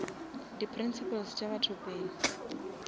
di principles tša batho pele